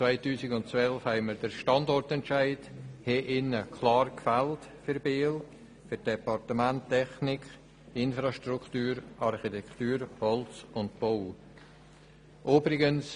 2012 haben wir den Standortentscheid für die Departemente Technik, Infrastruktur, Architektur, Holz und Bau in Biel klar gefällt.